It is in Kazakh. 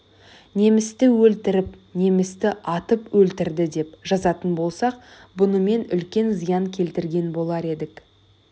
немісті өлтіріп немісті атып өлтірді деп жазатын болсақ бұнымен үлкен зиян келтірген болар едік